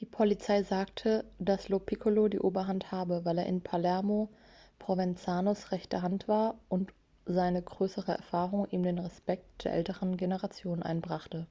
die polizei sagte dass lo piccolo die oberhand habe weil er in palermo provenzanos rechte hand war und seine größere erfahrung ihm den respekt der älteren generationen einbrachte